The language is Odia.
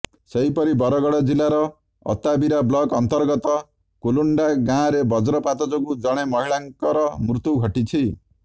ସେହିପରି ବରଗଡ଼ ଜିଲ୍ଲାର ଅତାବିରା ବ୍ଲକ ଅନ୍ତର୍ଗତ କୁଲୁଣ୍ଡା ଗାଁରେ ବଜ୍ରପାତ ଯୋଗୁଁ ଜଣେ ମହିଳାଙ୍କର ମୃତ୍ୟୁ ଘଟିଛି